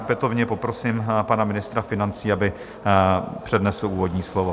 Opětovně poprosím pana ministra financí, aby přednesl úvodní slovo.